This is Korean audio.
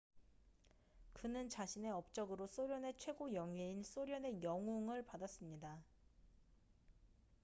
그는 자신의 업적으로 소련의 최고 영예인 소련의 영웅”을 받았습니다